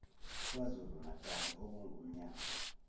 kwazulu natali okungumnyango